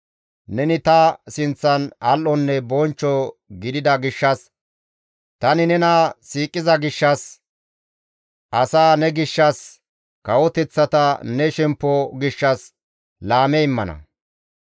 Neni ta sinththan al7onne bonchcho gidida gishshas, tani nena siiqiza gishshas, asaa ne gishshas, kawoteththata ne shemppo gishshas laame immana.